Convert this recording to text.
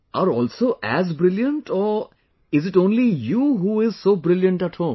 are also as brilliant or is it only you who is so brilliant at home